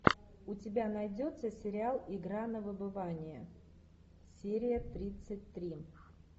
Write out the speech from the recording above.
у тебя найдется сериал игра на выбывание серия тридцать три